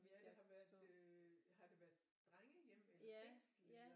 Ja det har været øh har det været drengehjem eller fængsel eller